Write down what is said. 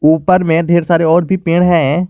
ऊपर में ढेर सारे और भी पेड़ हैं।